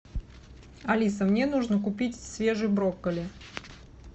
алиса мне нужно купить свежий брокколи